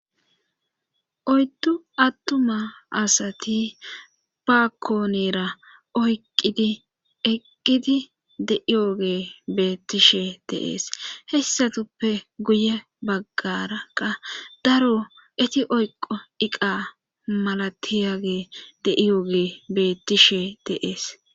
Oyddu attuma asati baakkoonera oyqqidi eqqidi de'iyoge beettishe deees hessatuppe guye baggarakka daro eti oyqo iqa malatiyage deiyoge beettishe deees.